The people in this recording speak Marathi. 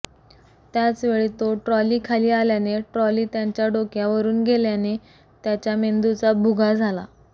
त्याच वेळी तो ट्रॉलीखाली आल्याने ट्रॉली त्यांच्या डोक्यावरुन गेल्याने त्याच्या मेंदूचा भुगा झाला